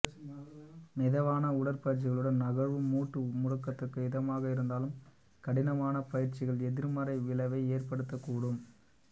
மிதமான உடற்பயிற்சிகளும் நகர்வும் மூட்டு முடக்கத்துக்கு இதமாக இருந்தாலும் கடினமான பயிற்சிகள் எதிர்மறை விளைவை ஏற்படுத்தக் கூடும்